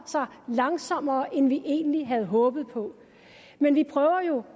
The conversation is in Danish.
sig langsommere end vi egentlig havde håbet på men vi prøver jo